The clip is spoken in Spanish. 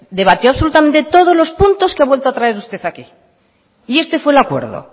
debatió absolutamente todos los puntos que ha vuelto a traer usted aquí y este fue el acuerdo